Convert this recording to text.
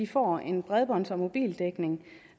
får en bredbånds og mobildækning